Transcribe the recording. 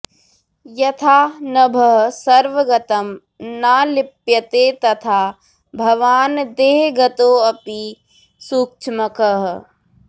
यथा नभः सर्वगतं न लिप्यते तथा भवान् देहगतोऽपि सूक्ष्मकः